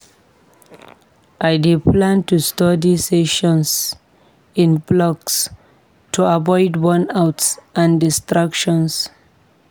I dey plan my study sessions in blocks to avoid burnout and distractions.